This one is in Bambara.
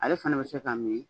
Ale fana bɛ se ka min